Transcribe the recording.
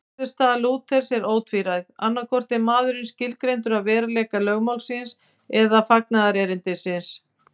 Niðurstaða Lúthers er ótvíræð, annaðhvort er maðurinn skilgreindur af veruleika lögmálsins eða fagnaðarerindisins.